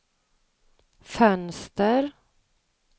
fönster